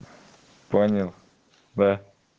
понял да